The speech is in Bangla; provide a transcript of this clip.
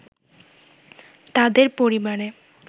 তাঁদের পরিবারে